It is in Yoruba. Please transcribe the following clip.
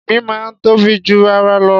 Ìgbín máa ń tóbi ju ara lọ.